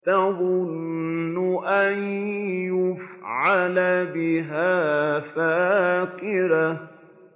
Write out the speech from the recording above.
تَظُنُّ أَن يُفْعَلَ بِهَا فَاقِرَةٌ